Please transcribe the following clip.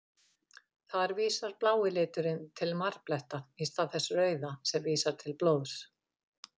Þar vísar blái liturinn til marbletta, í stað þess rauða sem vísar til blóðs.